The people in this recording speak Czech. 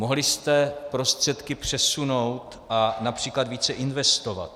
Mohli jste prostředky přesunout a například více investovat.